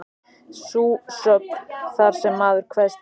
Sú sögn, þar sem maður kveðst heita